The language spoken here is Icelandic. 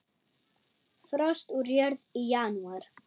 Frost úr jörð í janúar.